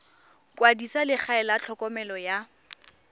kwadisa legae la tlhokomelo ya